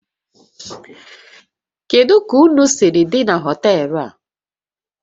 Kedu ka ụnụ siri dị na họtel a?